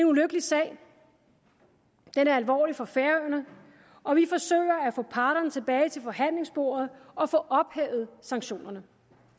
ulykkelig sag den er alvorlig for færøerne og vi forsøger at få parterne tilbage til forhandlingsbordet og få ophævet sanktionerne